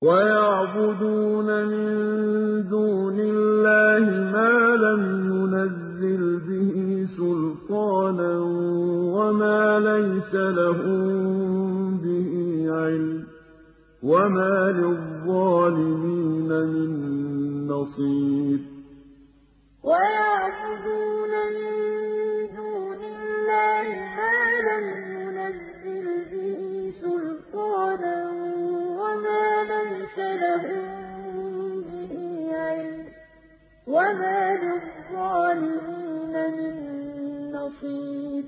وَيَعْبُدُونَ مِن دُونِ اللَّهِ مَا لَمْ يُنَزِّلْ بِهِ سُلْطَانًا وَمَا لَيْسَ لَهُم بِهِ عِلْمٌ ۗ وَمَا لِلظَّالِمِينَ مِن نَّصِيرٍ وَيَعْبُدُونَ مِن دُونِ اللَّهِ مَا لَمْ يُنَزِّلْ بِهِ سُلْطَانًا وَمَا لَيْسَ لَهُم بِهِ عِلْمٌ ۗ وَمَا لِلظَّالِمِينَ مِن نَّصِيرٍ